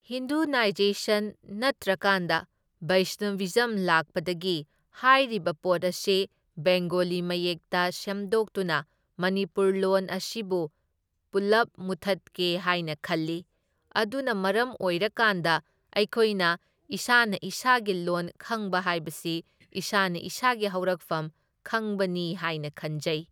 Hinduisation ꯅꯠꯇ꯭ꯔꯀꯥꯟꯗ ꯕꯩꯁꯅꯕꯤꯖꯝ ꯂꯥꯛꯄꯗꯒꯤ ꯍꯥꯏꯔꯤꯕ ꯄꯣꯠ ꯑꯁꯤ ꯕꯦꯡꯒꯣꯂꯤ ꯃꯌꯦꯛꯇ ꯁꯦꯝꯗꯣꯛꯇꯨꯅ ꯃꯅꯤꯄꯨꯔ ꯂꯣꯟ ꯑꯁꯤꯕꯨ ꯄꯨꯜꯂꯞ ꯃꯨꯊꯠꯀꯦ ꯍꯥꯏꯅ ꯈꯜꯂꯤ, ꯑꯗꯨꯅ ꯃꯔꯝ ꯑꯣꯏꯔꯀꯥꯟꯗ ꯑꯩꯈꯣꯏꯅ ꯏꯁꯥꯅ ꯏꯁꯥꯒꯤ ꯂꯣꯟ ꯈꯪꯕ ꯍꯥꯏꯕꯁꯤ ꯏꯁꯥꯅ ꯏꯁꯥꯒꯤ ꯍꯧꯔꯛꯐꯝ ꯈꯪꯕꯅꯤ ꯍꯥꯏꯅ ꯈꯟꯖꯩ꯫